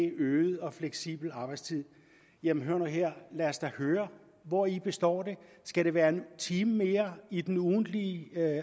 øget og fleksibel arbejdstid jamen hør nu her lad os da høre hvori det består skal det være en time mere i den ugentlige